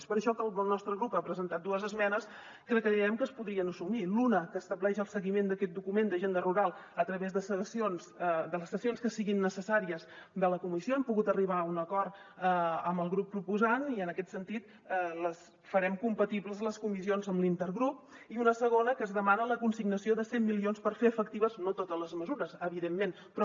és per això que el nostre grup ha presentat dues esmenes que creiem que es podrien assumir una que estableix el seguiment d’aquest document d’agenda rural a través de les sessions que siguin necessàries de la comissió hem pogut arribar a un acord amb el grup proposant i en aquest sentit farem compatibles les comissions amb l’intergrup i una segona que s’hi demana la consignació de cent milions per fer efectives no totes les mesures evidentment però